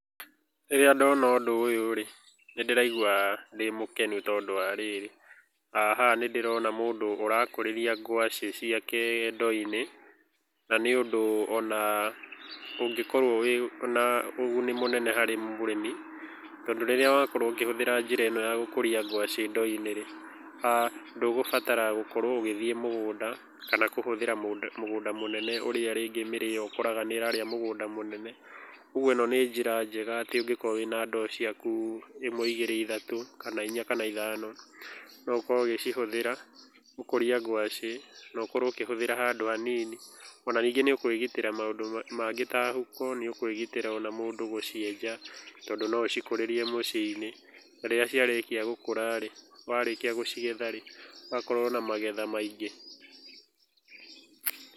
Rĩrĩa ndona ũndũ ũyũ rĩ, nĩ ndĩraigua ndĩ mũkenu tondũ wa rĩrĩ haha nĩ ndĩrona mũndũ ũrakũrĩrĩa ngwaci ciake ndoo-inĩ, na nĩ ũndũ ona ũngĩkorũo wĩ ona ũguni mũnene mũno harĩ mũrĩmi, tondũ rĩrĩa wakorũo ũkĩhũthĩra njĩra ĩno ya gũkũria ngwaci ndoo-inĩ rĩ, ndũgũbatara gũkorwo ũgĩthiĩ mũgũnda kana ndũkũhũthĩra mũgũnda mũnene ũrĩa rĩngĩ mĩrĩo ũkoraga nĩ ĩrarĩa mũgũnda mũnene. Ũguo ĩno nĩ njĩra njega atĩ ũngĩkorũo wĩna ndoo ciaku ĩmwe igĩrĩ ithatũ kana inya kana ithano, no ũkorũo ũgĩcihũthĩra gũkũria ngwaci no ũkorũo ũkĩhũthĩra handu hanini. Ona ningĩ nĩ ũkwĩgitĩra maũndũ mangĩ ta huko nĩ ũkwĩgitĩra ona mũndũ gũcienja tondũ no ũcikũrĩrie mũciĩ-inĩ. Na rĩrĩa ciarĩkia gũkũra rĩ, watua gũcigetha rĩ, ũgakorũo na magetha maingĩ.